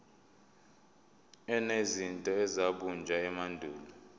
enezinto ezabunjwa emandulo